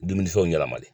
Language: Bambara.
Dumunifɛnw yɛlɛmali